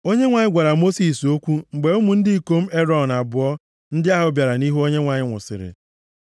Onyenwe anyị gwara Mosis okwu mgbe ụmụ ndị ikom Erọn abụọ ndị ahụ bịara nʼihu Onyenwe anyị nwụsịrị.